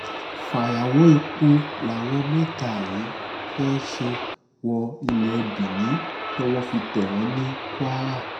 fàyàwọ́ epo làwọn mẹ́ta yìí fẹ́ẹ́ ṣe wọ ilé benin towó fi tẹ̀ wọ́n ní kwara